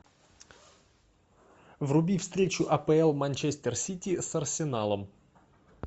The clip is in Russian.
вруби встречу апл манчестер сити с арсеналом